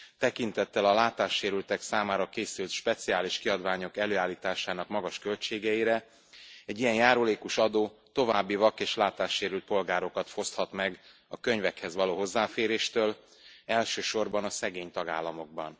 Tekintettel a látássérültek számára készült speciális kiadványok előállításának magas költségeire, egy ilyen járulékos adó további vak és látássérült polgárokat foszthat meg a könyvekhez való hozzáféréstől, elsősorban a szegény tagállamokban.